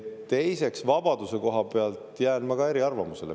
Teiseks, vabaduse koha pealt jään ma ka eriarvamusele.